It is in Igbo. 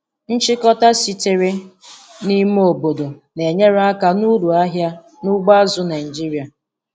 Nchịkọta sitere n' ime obodo na-enyere aka n'uru ahịa n'ugbo azụ̀ Naịjiria.